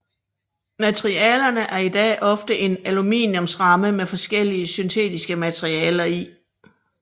Materialerne er i dag ofte en aluminiumsramme med forskellige syntetiske materialer i